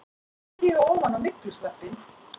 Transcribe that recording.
EKKI STÍGA OFAN Á MYGLUSVEPPINN!